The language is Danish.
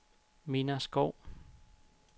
Minna Skov